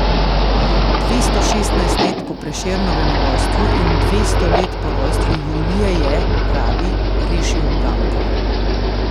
Dvesto šestnajst let po Prešernovem rojstvu in dvesto let po rojstvu Julije je, pravi, rešil uganko.